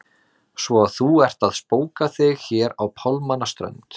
Svo að þú ert að spóka þig hér á pálmanna strönd!